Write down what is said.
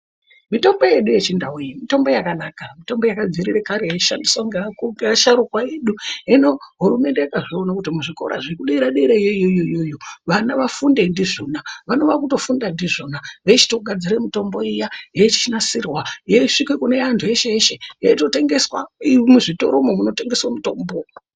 Mitombo yedu yechindau iyi mitombo yakanaka mitombo yakadzivire kare yeishandiswa ngaasharukwa edu. Hino hurumende yakazviona kuti muzvikora zvekudera dera yoyoiyoyo vana vafunde ndizvona vanova kutofunda ndizvona veichitogadzira mitombo iya yeichinasirwa yeisvike kune antu eshe eshe yeitongeswa iri muzvikoromwo munotengeswe mitombo.